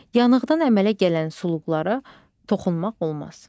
Yanıqdan əmələ gələn suluqlara toxunmaq olmaz.